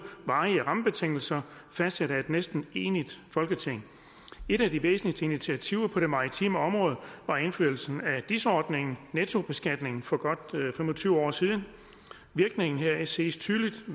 varige rammebetingelser fastsat af et næsten enigt folketing et af de væsentligste initiativer på det maritime område var indførelsen af dis ordningen nettobeskatningen for godt fem og tyve år siden virkningen heraf ses tydeligt hvis